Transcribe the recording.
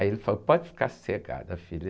Aí ele falou, pode ficar sossegada, filha.